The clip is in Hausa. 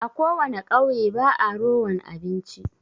A Ko wana ƙauye ba'a rowan abinci.